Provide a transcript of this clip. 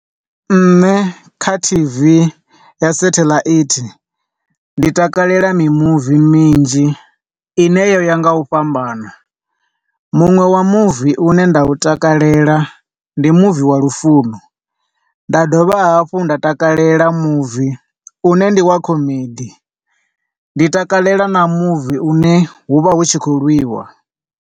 Nṋe kha T_V ya sathelaithi ndi takalela mimuvi minzhi ine yo ya nga u fhambana, muṅwe wa muvi une nda u takalela ndi muvi wa lufuno, nda dovha hafhu nda takalela muvi une ndi wa comedy, ndi takalela na muvi une hu vha hu tshi khou lwiwa.